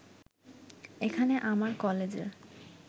এখানে আমার কলেজের